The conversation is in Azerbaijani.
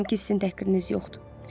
Əminəm ki, sizin təqsiriniz yoxdur.